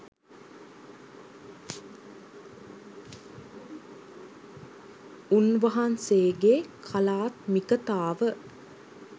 උන්වහන්සේගේ කලාත්මිකතාව